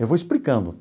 Eu vou explicando.